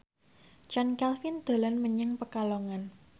Chand Kelvin dolan menyang Pekalongan